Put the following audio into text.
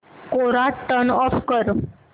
कोरा turn off कर